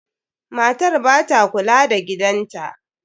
Matar ba ta kula da gidan ta.